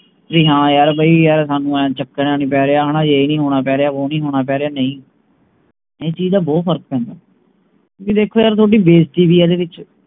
ਵੀ ਹਾਨ ਯਾਰ ਬਈ ਯਾਰ ਸਾਨੂ ਆਏਂ ਚੱਕਰ ਜਾ ਨਹੀਂ ਪੈ ਰਿਹਾ ਹਣਾ ਏ ਨਹੀਂ ਹੋਣਾ ਪੈ ਰਿਹਾ ਵੋ ਨਹੀਂ ਹੋਣਾ ਪੈ ਰਿਹਾ ਨਹੀਂ ਇਸ ਚੀਜ ਦਾ ਬਹੁਤ ਫਰਕ ਪੈਂਦੇ ਵੀ ਦੇਖੋ ਯਾਰ ਥੋਡੀ ਬੇਜਤੀ ਵੀ ਹੈ ਇਹਦੇ ਵਿਚ